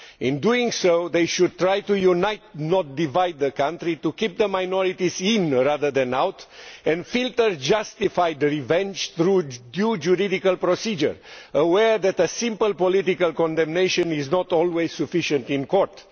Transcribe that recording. In doing so they should try to unite, not divide, the country, to keep the minorities in rather than out, and to filter justified revenge through judicial procedure, aware that a simple political condemnation is not always sufficient in court.